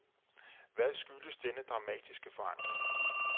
Hvad skyldes denne dramatiske forandring.